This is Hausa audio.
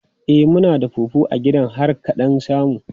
E, muna da fufu a gidan har ka ɗan samu.